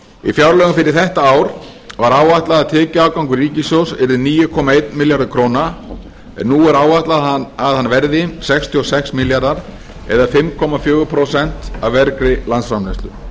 í fjárlögum fyrir þetta ár var áætlað að tekjuafgangur ríkissjóðs yrði níu komma einn milljarður króna en nú er áætlað að hann verði sextíu og sex milljarðar eða fimm komma fjögur prósent af vergri landsframleiðslu